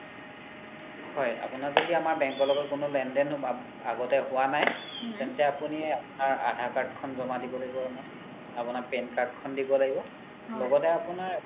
হয় আপোনাৰ য্দি আমাৰ bank ৰ লগত কোনো লেন দেন আগতে হুৱা নাই তেন্তে আপুনি আপোনাৰ aadhar card খন জ্মা দিব লাগিব আমক আপোনাৰ PAN card খন দিব লাগিব লগতে আপোনাৰ